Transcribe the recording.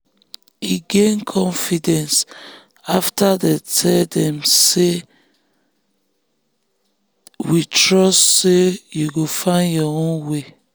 e gain confidence after dem tell am “we trust say you go find your own way.”